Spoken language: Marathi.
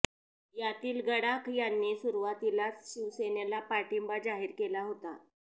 यातील गडाख यांनी सुरुवातीलाच शिवसेनेला पाठिंबा जाहीर केला होता